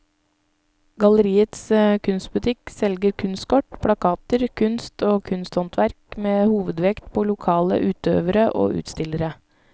Galleriets kunstbutikk selger kunstkort, plakater, kunst og kunsthåndverk med hovedvekt på lokale utøvere og utstillere.